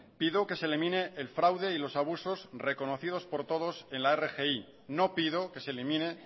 pido que se elimine el fraude y los abusos reconocidos por todos en la rgi no pido que se elimine